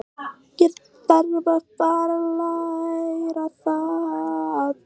Þarf að fara að læra það.